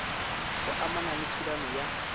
go amana le thulano ya